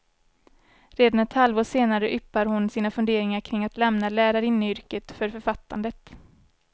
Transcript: Redan ett halvår senare yppar hon sina funderingar kring att lämna lärarinneyrket för författandet.